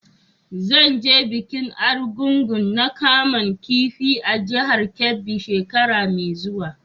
Zan je bikin Argungu na kaman kifi a jihar Kebbi shekara mai zuwa.